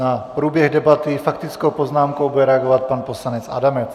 Na průběh debaty faktickou poznámkou bude reagovat pan poslanec Adamec.